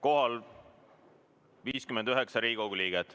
Kohal on 59 Riigikogu liiget.